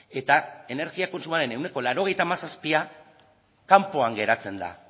eta energia kontsumoaren ehuneko laurogeita hamazazpia kanpoan geratzen da